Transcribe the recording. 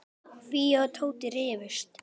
Fía og Tóti rifust.